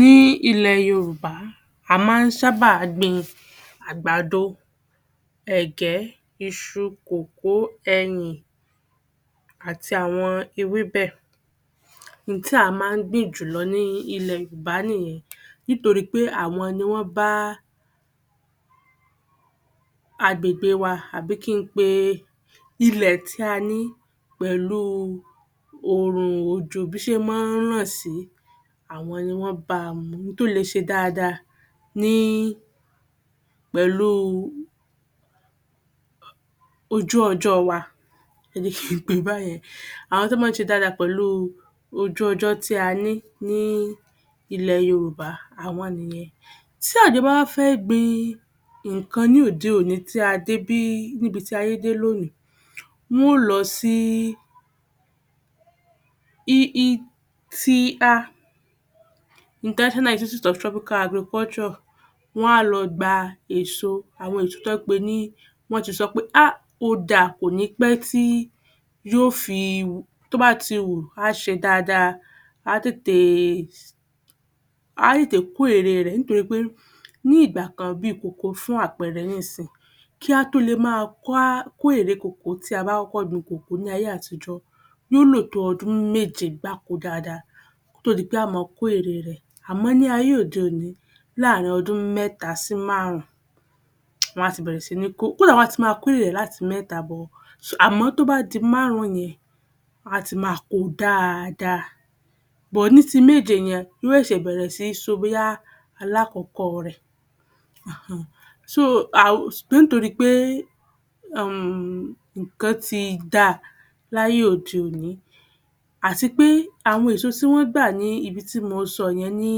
Ní ilẹ̀ Yorùbá, a máa ń sábà gbin àgbàdo, ẹ̀gẹ́, iṣu, kòkó, ẹyìn, àti àwọn ewébẹ̀. N tí a máa ń gbìn jùlọ ní ilẹ̀ Yorùbá nìyẹn nitoripe àwọn ni wọ́n bá agbègbè wa àbí kí n pe ilẹ̀ tí a ní pẹ̀lú òrùn, òjò, bí ṣe máa ń ràn sí àwọn ní wọ́n bá a mu ntó le se dáadáa ní pẹ̀lú ojú-ọjọ́ wa. pè é báyẹn, àwọn tán máa ń ṣe dáadáa pẹ̀lú ojú-ọjọ́ tí a ní ní ilẹ̀ Yorùbá àwọn nìyẹn. Tí àgbẹ̀ bá wá fẹ́ gbin nǹkan ní òde-òní tí a dé bi, níbití ayé dé lónìí, ń wó lọ sí IITA wọ́n á lọ gba èso àwọn èso tó jẹ́ pé ni wọ́n ti sọ pé um ó da kòní pé tí yóò fi wù. Tó bá ti wù, á ṣe dáadáa, á tètè, a á tètè kó ère rẹ̀ nítorí pé ní ìgbà kan bí i kòkó fún àpẹẹrẹ nísinsìnyí, kí á tó le máa wá kó ère kòkó tí a bá kọ́kọ́ gbin kòkó ní ayé-àtijọ́, yóò ló tó ọdún méje gbáko dáadáa kò tó di pé á máa kó ère rẹ̀. Àmọ́ ní ayé òde-òní láàárín ọdún mẹ́ta sí márùn-ún, wọ́n á ti bẹ̀rẹ̀ sí ní kó, kódàá wọ́n á ti máa ko ère rẹ láti mẹ́ta bọ̀. Àmọ́ tó bá di márùn-ún yẹn, wáti máa kó dáadáa ní ti méje yẹn, ó ṣẹ̀ṣẹ̀ bẹ̀rẹ̀ sí ní so bóyá alákọ̀kọ́ rẹ̀ um ṣùgbọ́n nítorí pé um nǹkan ti dáa láyé òde-òní, àti pé àwọn èso tí wọ́n gbà ní ibi tí mo sọ yẹn ní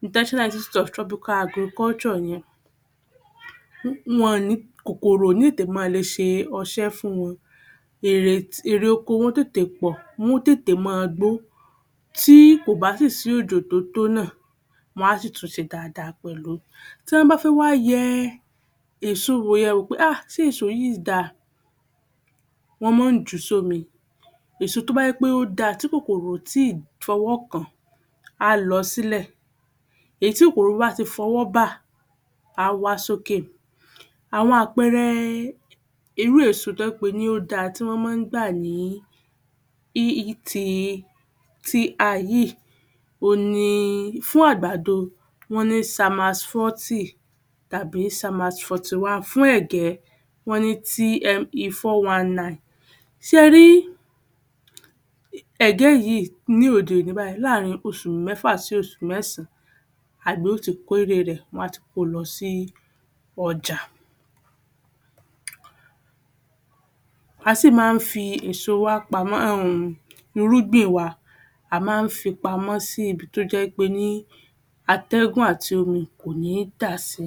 yẹn wọ̀n ní, kòkòrò òní tètè máa le ṣe ọsẹ́ fún wọn. Èrè oko wọn tètè pọ̀, wọ́n tètè máa gbó. Tí kò bá tì sí òjò tó tó náà, wọ́n á sì tún ṣe dáadáa pẹ̀lú. Tí wọ́n bá fẹ́ wá yẹ èso wò yẹn wò pé um ṣé èso yìí da, wọ́n máa ń jù sómi. Èso tó bá jẹ́ pé ó da tí kòkòrò o tí ì fọwọ́kàn, a lọ sílẹ̀. Èyí tí kòkòrò bá ti fọwọ́bà, á wá sókè. Àwọn àpẹẹrẹ irú èso tó jẹ́ pé ó da tí wọ́n máa ń gbà ni IITA yìí, òhun ni, fún àgbàdo, wọ́n ní tàbí. Fún ẹ̀gẹ́, wọ́n ní. Ṣẹrí ẹ̀gẹ́ yìí, ní òde-òní báyìí, láàárín oṣù mẹ́fà sí oṣù mẹ́sàn-án, àgbẹ̀ ó ti kó ère rẹ̀, wọ́n á ti kolọ sí ọjà. Á sì máa ń fi èso wa pamọ́. um irúgbìn wa, a máa ń fi pamọ́ sí ibi tó jẹ́ wí pé ní atẹ́gùn àti omi kò ní dà si.